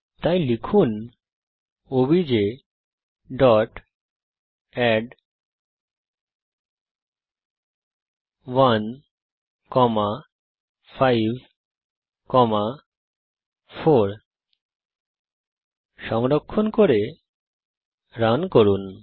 তাই লিখুন OBJ dot add 1 comma 5 comma 4 সংরক্ষণ করে রান করুন